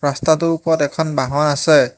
ৰাস্তাটোৰ ওপৰত এখন বাহন আছে।